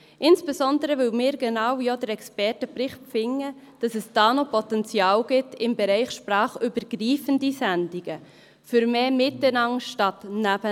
Dies insbesondere weil wir – wie auch der Expertenbericht – finden, es sei noch Potenzial im Bereich der sprachübergreifenden Sendungen vorhanden, für mehr Miteinander, statt Nebeneinander.